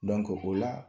o la